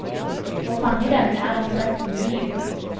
Å fange den er omtrent umulig.